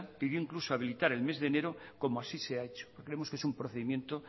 pidió incluso habilitar el mes de enero como así se ha hecho creemos que es un procedimiento